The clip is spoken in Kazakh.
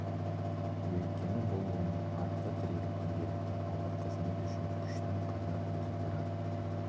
өйткені бұл оның артқы тірегі күнделікті ауыр қызмет үшін күштің қайнар көзі бірақ